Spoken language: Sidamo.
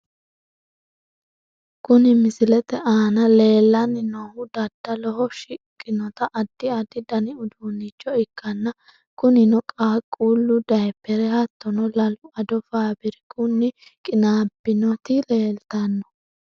Kuni misilete aana leellanni noohu daddaloho shiqqinota addi addi dani uduunnicho ikkanna , kunino qaaqquullu dayiiphere hattono lalu ado faabirikunni qinaabbinoti leeltanno.